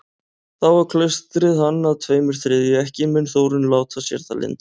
Þá á klaustrið hann að tveimur þriðju, ekki mun Þórunn láta sér það lynda.